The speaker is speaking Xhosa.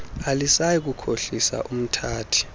alisayi kukhohlisa umthathi